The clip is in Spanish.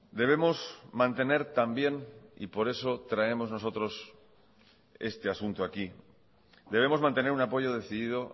debemos mantener también y por eso traemos nosotros este asunto aquí debemos mantener un apoyo decidido